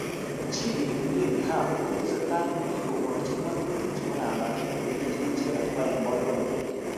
Chi nekile Levy Hawi kotesetai ak bik koborjin ngatutik chebo kambaget ak kolenjin icheket kwai eng boiboyet.